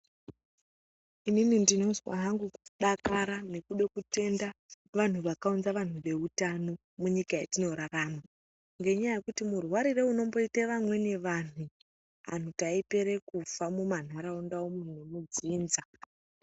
Inini ndinozwa hangu nekudakara nekuda kutenda vanhu vakaunza vanhu veutano munyika yetinorarama nenyaya yekuti murwarire unomboite vamweni vanhu anhu taipera kufa muma nharaunda umwo nemudzinza.